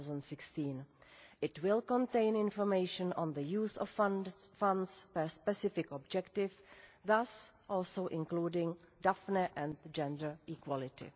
2016. It will contain information on the use of funds per specific objective, thus also including Daphne and gender equality.